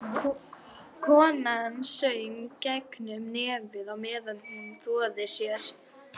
Konan söng gegnum nefið á meðan hún þvoði sér.